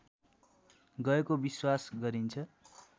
गएको विश्वास गरिन्छ